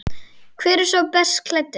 Hver er sá best klæddi?